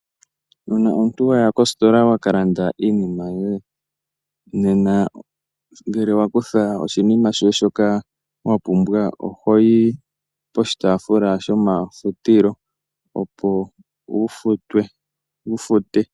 Uuna omuntu waya kositola wakalanda iinima yoye, nena ngele wakutha oshinima shoye shoka wa pumbwa ohoyi poshitaafula shomafutilo opo wu fute.